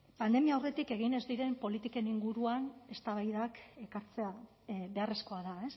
pandemia aurretik egin ez diren politiken inguruan eztabaidak ekartzea beharrezkoa da